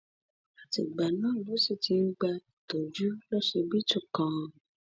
àtìgbà náà ló sì sì ti ń gba ìtọjú lọsibítù kan